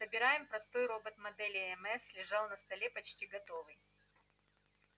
собираем простой робот модели мс лежал на столе почти готовый